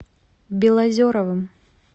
белозеровым